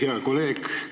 Hea kolleeg!